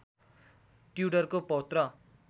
ट्यूडरको पौत्र